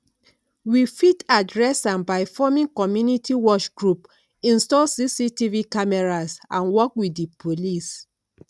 we fit address am by forming community watch group install cctv cameras and work with di police